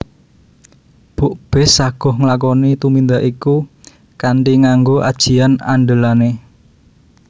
Bukbis saguh nglakoni tumindak iku kanthi nganggo ajian andelané